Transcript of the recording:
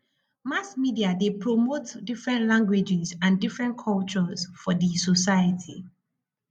mass media de promote different languages and different cultures for di society